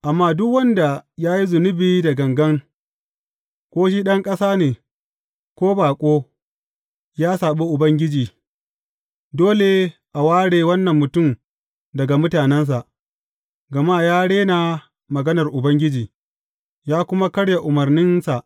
Amma duk wanda ya yi zunubi da gangan, ko shi ɗan ƙasa ne, ko baƙo, ya saɓi Ubangiji, dole a ware wannan mutum daga mutanensa, gama ya rena maganar Ubangiji, ya kuma karya umarninsa.